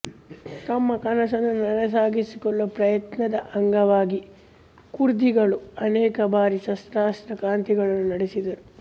ತಮ್ಮ ಕನಸನ್ನು ನನಸಾಗಿಸಿಕೊಳ್ಳುವ ಪ್ರಯತ್ನದ ಅಂಗವಾಗಿ ಕುರ್ದಿಗಳು ಅನೇಕ ಬಾರಿ ಸಶಸ್ತ್ರ ಕ್ರಾಂತಿಗಳನ್ನು ನಡೆಸಿದರು